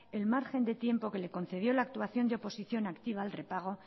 el margen de tiempo que le concedió la actuación de oposición activa al repago